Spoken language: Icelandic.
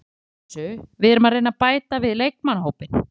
Við erum að vinna í þessu, við erum að reyna að bæta við leikmannahópinn